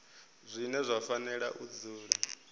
zwine zwa fanela u dzula